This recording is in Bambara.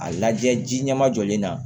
A lajɛ ji ɲɛma jɔlen na